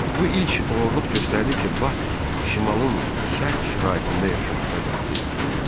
Bu ilk oğurluq göstərdi ki, Bak şimalın sərt şəraitində yaşamağa qadirdir.